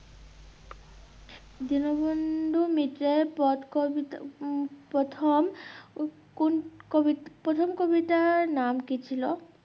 দীনবন্ধু মিত্রের পথ কবিতা উম প্রথম উম কোন কবি প্রথম কবিতার নাম কি ছিল?